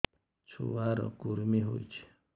ଛୁଆ ର କୁରୁମି ହୋଇଛି